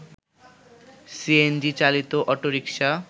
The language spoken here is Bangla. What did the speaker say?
সিএনজি চালিত অটোরিকশা